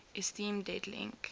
esteem dead link